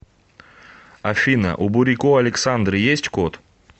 афина у бурико александры есть кот